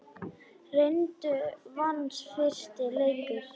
Reyndar vannst fyrsti leikur.